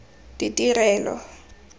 ditirelo